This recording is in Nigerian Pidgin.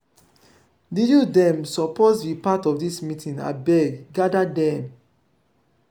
di youth dem suppose be part of dis meeting abeg gada dem.